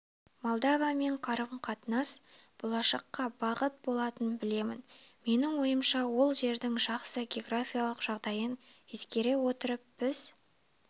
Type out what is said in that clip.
молдовамен қарым-қатынас болашаққа бағыт болатынын білемін менің ойымша ол жердің жақсы географиялық жағдайын ескере отырып біз